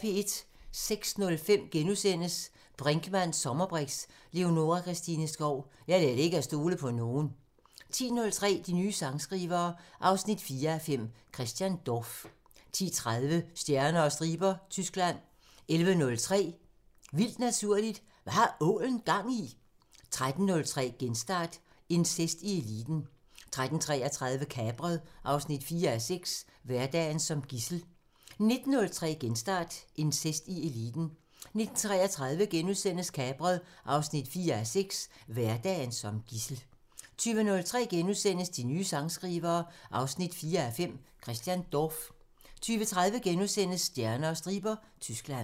06:05: Brinkmanns sommerbriks: Leonora Christina Skov – Jeg lærte ikke at stole på nogen * 10:03: De nye sangskrivere 4:5 – Christian Dorph 10:30: Stjerner og striber – Tyskland 11:03: Vildt Naturligt: Hvad har ålen gang i?! 13:03: Genstart: Incest i eliten 13:33: Kapret 4:6 – Hverdagen som gidsel 19:03: Genstart: Incest i eliten 19:33: Kapret 4:6 – Hverdagen som gidsel * 20:03: De nye sangskrivere 4:5 – Christian Dorph * 20:30: Stjerner og striber – Tyskland *